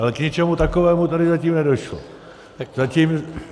Ale k ničemu takovému tady zatím nedošlo.